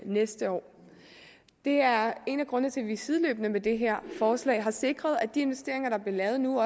næste år det er en af grundene til at vi sideløbende med det her forslag har sikret at de investeringer der bliver lavet nu